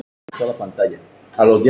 Það svarar ekki.